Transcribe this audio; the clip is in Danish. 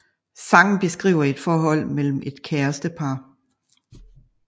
Sangen beskriver et forhold mellem et kærestepar